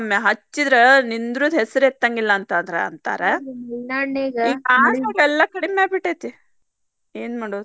ಹಚ್ಚಿದ್ರ ನಿದ್ರುದ ಹೆಸರ್ ಎತ್ತಂಗಿಲ್ಲ ಅಂತಾರ. ಈ ಕಾಡ್ನಗ ಎಲ್ಲಾ ಕಡಿಮಿ ಆಗಿಬಿಟ್ಟೆತಿ ಏನ್ ಮಾಡುದ್.